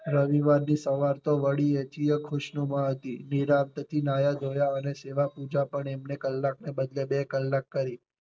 રવિવાર ની સવાર તો વળી એથીય ખુશનુમા હતી નિરાંત થી નાહ્યા ધોયા અને સેવા પૂજા પણ એમણે કલાક ને બદલે બે કલાક કરી.